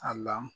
A la